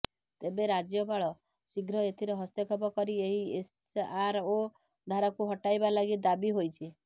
ତେବେ ରାଜ୍ୟପାଳ ଶୀଘ୍ର ଏଥିରେ ହସ୍ତକ୍ଷେପ କରି ଏହି ଏସଆରଓ ଧାରାକୁ ହଟାଇବା ଲାଗି ଦାବି ହୋଇଛି